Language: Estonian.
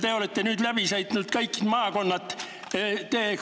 Te olete nüüd kõik maakonnad läbi sõitnud.